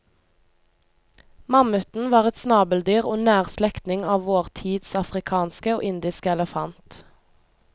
Mammuten var et snabeldyr og nær slektning av vår tids afrikanske og indiske elefant.